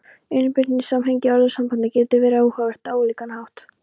Innbyrðis samhengi orðasambanda getur verið áhugavert á ólíkan hátt.